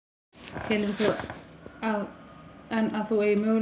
Telurðu enn að þú eigir möguleika á að ná kjöri?